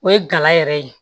O ye gala yɛrɛ ye